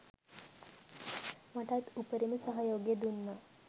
මටත් උපරිම සහයෝගය දුන්නා